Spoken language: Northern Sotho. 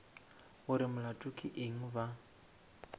gore molato ke eng ba